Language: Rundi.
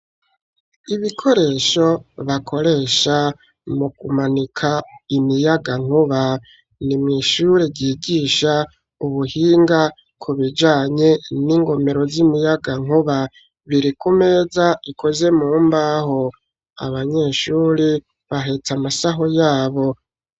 Ibikoresho, bakoresha, mu kumanika imiyagankuba; ni mw'ishure, ryigisha ubuhinga, ku bijanye n'ingomero, z'imiyagankuba; biri ku meza, ikoze mu mbaho; abanyeshuri, bahetse amasaho yabo.